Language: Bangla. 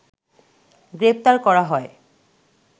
গ্রেপ্তার করা হয়